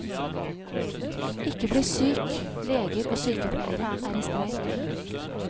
Ikke bli syk, leger og sykepleiere er i streik.